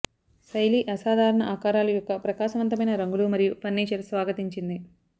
శైలి అసాధారణ ఆకారాలు యొక్క ప్రకాశవంతమైన రంగులు మరియు ఫర్నిచర్ స్వాగతించింది